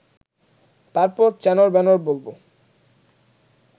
তারপর চ্যানর চ্যানর বলব